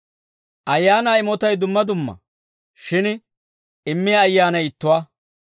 Ayaanaa imotay dumma dumma; shin immiyaa Ayyaanay ittuwaa.